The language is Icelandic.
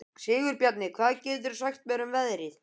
Sigurbjarni, hvað geturðu sagt mér um veðrið?